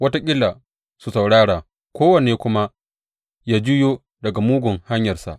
Wataƙila su saurara kowanne kuma ya juyo daga mugun hanyarsa.